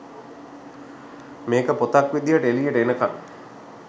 මේක පොතක් විදිහට එලියට එනකම්